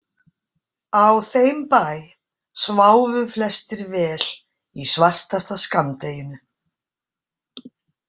Á þeim bæ sváfu flestir vel í svartasta skammdeginu.